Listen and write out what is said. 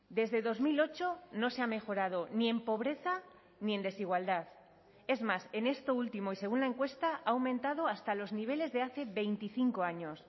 desde dos mil ocho no se ha mejorado ni en pobreza ni en desigualdad es más en esto último y según la encuesta ha aumentado hasta los niveles de hace veinticinco años